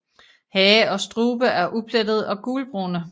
Hage og strube er uplettede og gulbrune